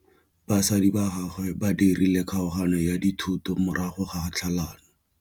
Batsadi ba gagwe ba dirile kgaoganyô ya dithoto morago ga tlhalanô.